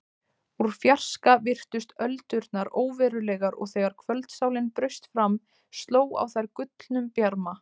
Úr fjarska virtust öldurnar óverulegar og þegar kvöldsólin braust fram sló á þær gullnum bjarma.